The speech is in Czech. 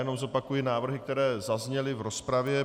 Jenom zopakuji návrhy, které zazněly v rozpravě.